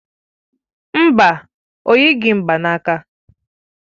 Mba, o yighị mgbaaka.